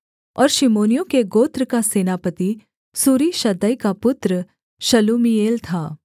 और शिमोनियों के गोत्र का सेनापति सूरीशद्दै का पुत्र शलूमीएल था